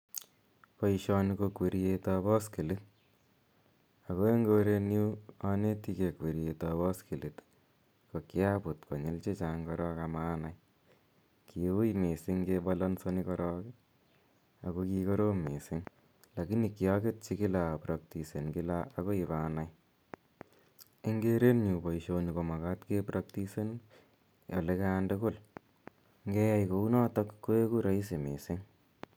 Poishoni ko kweriet ap paskilit. Ako eng' korenyu aneti gei kweriet ap paskilit i, kiaput konyil che chang' korok ama anai. Kiui missing' kebalansani korok ako kikorom missing' lakini kiaketchi kila ak apraktisen kila akoi ipa nai. Eng' keretnyu poishoni ko makat kepraktisen olekan tugul. Ngeyai kou notok ko eku raisi missing'.